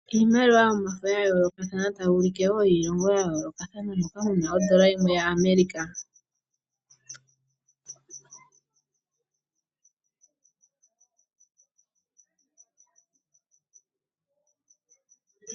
Iimaliwa yomafo ya yoolokathana tayi ulike woo kutya oyiilongo ya yoolokathana, moka muna ondola yimwe ya America.